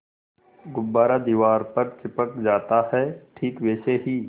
गुब्बारा दीवार पर चिपक जाता है ठीक वैसे ही